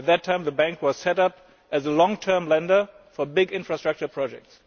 At that time, the Bank was conceived of as a long term lender for big infrastructure projects.